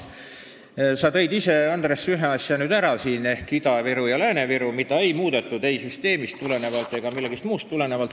Andres, sa tõid ise ühe asja välja ehk Ida-Viru ja Lääne-Viru, mida ei muudetud ei süsteemist ega millestki muust tulenevalt.